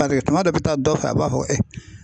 tuma dɔ i bɛ taa dɔ fɛ a b'a fɔ e